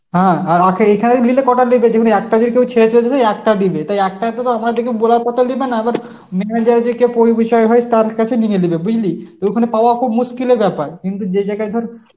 হ্যাঁ আর এখানেই দিলে কটা দিবে যে যেকোনো একটা একটা দিবে তাই একটাতে তো বলার কথায় দিবেনা এবার manager যাকে পরিবিশয় হয় তার কাছে নিমে দিবে বুঝলি. ওখানে পাওয়া খুব মুশকিলের ব্যাপার কিন্তু যে জায়গায় ধর